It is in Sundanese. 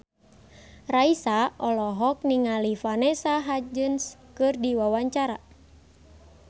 Raisa olohok ningali Vanessa Hudgens keur diwawancara